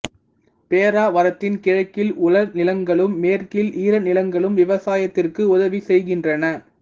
பேராவரத்தின் கிழக்கில் உலர்நிலங்களும் மேற்கில் ஈரநிலங்களும் விவசாயத்திற்கு உதவி செய்கின்றன